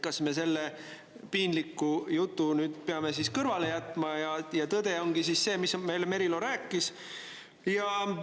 Kas me selle piinliku jutu peame kõrvale jätma ja tõde ongi see, mida Merilo meile rääkis?